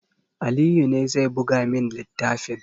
Aliyu ne zai buga min littafin